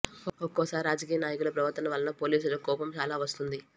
ఒక్కోసారి రాజకీయ నాయకుల ప్రవర్తన వలన పోలీసులకు కోపం చాలా వస్తుంది